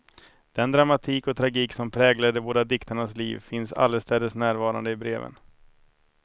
Den dramatik och tragik som präglade de båda diktarnas liv finns allestädes närvarande i breven.